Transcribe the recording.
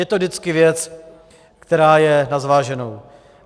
Je to vždycky věc, která je na zváženou.